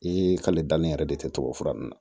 Ee k'ale danni yɛrɛ de tɛ tubabu fura ninnu na